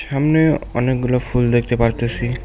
সামনে অনেকগুলো ফুল দেখতে পারতাসি।